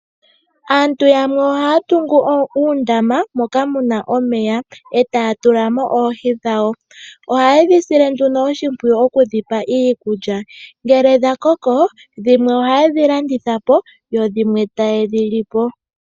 Aantu yamwe ohaya tungu uundama moka muna omeya, etaya tulamo oohi dhawo . Ohaye dhi sile nduno oshimpwiyu okudhipa iikulya . Ngele dha koko, dhimwe ohaye dhi landitha po, dho dhimwe taye dhi lipo.